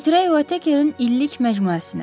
Götürək otekerin illik məcmuəsini.